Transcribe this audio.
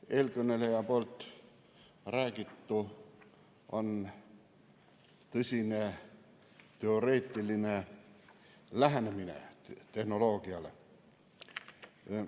Eelkõneleja räägitu on tõsine teoreetiline lähenemine tehnoloogiale.